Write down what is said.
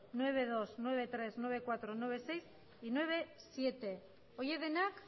nueve punto dos nueve punto tres nueve punto cuatro nueve punto seis y nueve punto siete horiek denak